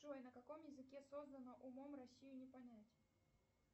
джой на каком языке создано умом россию не понять